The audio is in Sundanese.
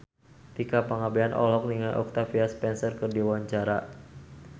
Tika Pangabean olohok ningali Octavia Spencer keur diwawancara